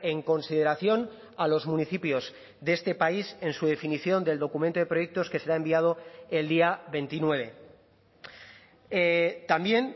en consideración a los municipios de este país en su definición del documento de proyectos que será enviado el día veintinueve también